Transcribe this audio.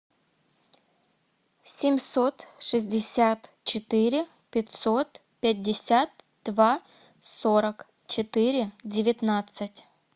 семьсот шестьдесят четыре пятьсот пятьдесят два сорок четыре девятнадцать